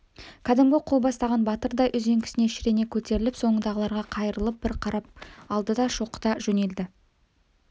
кәдімгі қол бастаған батырдай үзеңгісіне шірене көтеріліп соңындағыларға қайырылып бір қарап алды да шоқыта жөнелді